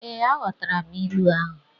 Ee, aghotara m ilu ahụ.